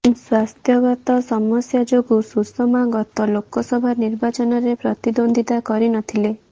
ସ୍ୱାସ୍ଥ୍ୟଗତ ସମସ୍ୟା ଯୋଗୁଁ ସୁଷମା ଗତ ଲୋକସଭା ନିର୍ବାଚନରେ ପ୍ରତିଦ୍ୱନ୍ଦ୍ୱିତା କରି ନ ଥିଲେ